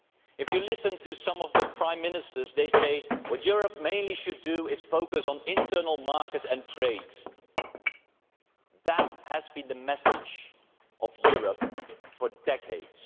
If you listen to some of the Prime Ministers, they are saying that what Europe should do mainly is focus on the internal market and trade. That has been the message of Europe for decades.